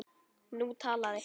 Nú talaði